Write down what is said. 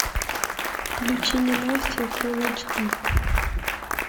включи ненастье фулл эйч ди